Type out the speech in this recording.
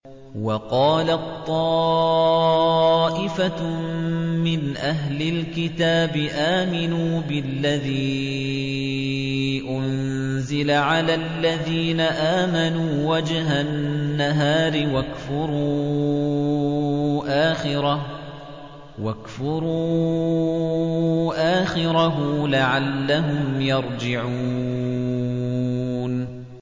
وَقَالَت طَّائِفَةٌ مِّنْ أَهْلِ الْكِتَابِ آمِنُوا بِالَّذِي أُنزِلَ عَلَى الَّذِينَ آمَنُوا وَجْهَ النَّهَارِ وَاكْفُرُوا آخِرَهُ لَعَلَّهُمْ يَرْجِعُونَ